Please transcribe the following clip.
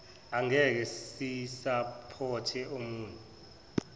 angekhe sisapothe omune